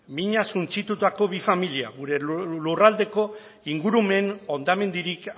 minak suntsitutako bi familia gure lurraldeko ingurumen hondamendirik